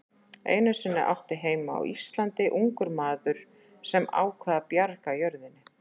Einu sinni átti heima á Íslandi ungur maður sem ákvað að bjarga jörðinni.